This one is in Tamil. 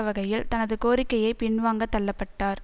வகையில் தனது கோரிக்கையை பின்வாங்கத் தள்ள பட்டார்